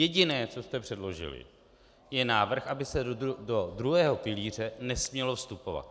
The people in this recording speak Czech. Jediné, co jste předložili, je návrh, aby se do druhého pilíře nesmělo vstupovat.